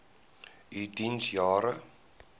u diens jare